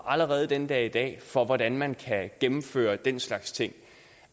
allerede den dag i dag rammer for hvordan man kan gennemføre den slags ting